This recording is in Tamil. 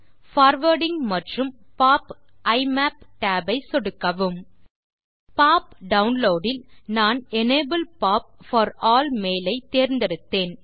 பார்வார்டிங் மற்றும் popஇமப் tab ஐ சொடுக்கவும் பாப் டவுன்லோட் இல் நான் enable pop for all mail ஐ தேர்ந்தெடுத்தேன்